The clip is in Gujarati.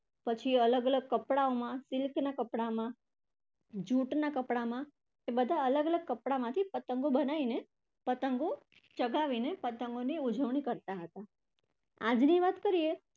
પછી અલગ અલગ કપડાઓમાં, silk ના કપડામાં, જુટના કપડામાં એ બધા અલગ અલગ કપડામાંથી પતંગો બનાવીને, પતંગો ચગાવીને પતંગોની ઉજવણી કરતા હતા. આજની વાત કરીએ